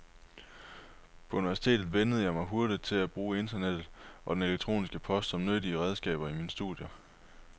På universitetet vænnede jeg mig hurtigt til at bruge internettet og den elektroniske post som nyttige redskaber i mine studier.